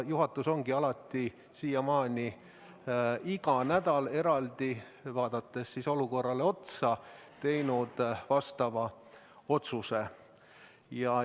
Juhatus ongi siiamaani iga nädal, vaadates olukorrale otsa, eraldi otsuse teinud.